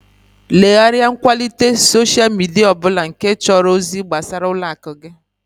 Leghara nkwalite soshal midia ọ bụla nke chọrọ ozi gbasara ụlọ akụ gị!